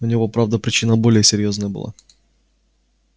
у него правда причина более серьёзная была